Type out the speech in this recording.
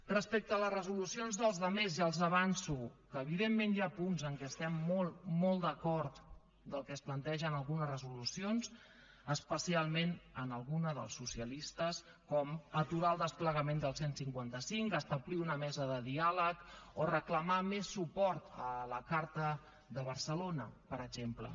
respecte a les resolucions dels altres ja els avanço que evidentment hi ha punts en què estem molt molt d’acord del que es planteja en algunes resolucions especialment en alguna dels socialistes com aturar el desplegament del cent i cinquanta cinc establir una mesa de diàleg o reclamar més suport a la carta de barcelona per exemple